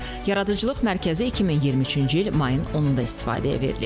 Yaradıcılıq mərkəzi 2023-cü il mayın 10-da istifadəyə verilib.